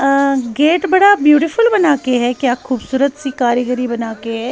अह gate बड़ा beautiful बना के है क्या खूबसूरत सी कारीगरी बना के है।